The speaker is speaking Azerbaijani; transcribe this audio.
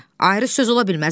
Ayrı söz ola bilməz.